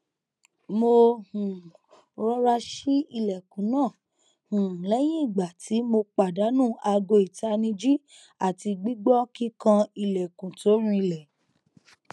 mo um rọra ṣi ilẹkun naa um lẹyin igba ti mo padanu aago itaniji ati gbigbọ kikan ilẹkun to rinlẹ